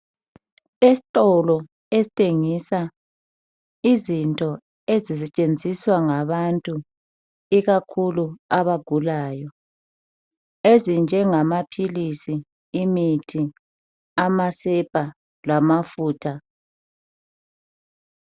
Esitolo esithengisa izinto ezisetshenziswa ngabantu ikakhulu abagulayo ezinjengamaphilisi imithi amasepa lamafutha